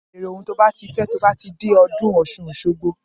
Bẹẹrẹ oun tọ fẹ tọ bà tí dẹ ọ̀dún ọsún ọsogbo!